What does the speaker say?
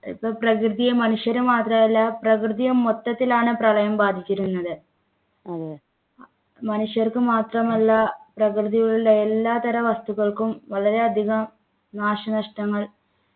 ഇപ്പൊ പ്രകൃതിയെ മനുഷ്യര് മാത്രമല്ല പ്രകൃതിയെ മൊത്തത്തിലാണ് പ്രളയം ബാധിച്ചിരുന്നത് മനുഷ്യർക്ക് മാത്രമല്ല പ്രകൃതിയിലുള്ള എല്ലാത്തരം വസ്തുക്കൾക്കും വളരെയധികം നാശനഷ്ടങ്ങൾ